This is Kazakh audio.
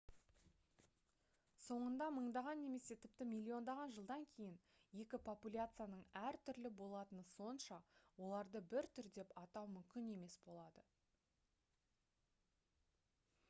соңында мыңдаған немесе тіпті миллиондаған жылдан кейін екі популяцияның әртүрлі болатыны сонша оларды бір түр деп атау мүмкін емес болады